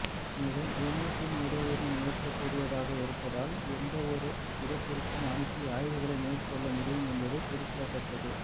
மேலும் ரிமோட்டின் உதவியுடன் இயக்கக்கூடியதாக இருப்பதால் எந்தவொரு இடத்திற்கும் அனுப்பி ஆய்வுகளை மேற்கொள்ள முடியும் என்பது குறிப்பிடத்தக்கது